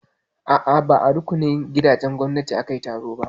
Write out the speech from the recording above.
A'a, ba a rukunin gidajen gwamnati aka yi taron ba.